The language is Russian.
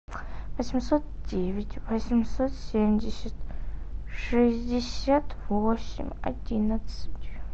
восемьсот девять восемьсот семьдесят шестьдесят восемь одиннадцать